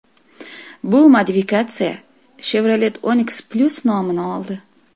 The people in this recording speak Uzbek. Bu modifikatsiya Chevrolet Onix Plus nomini oldi.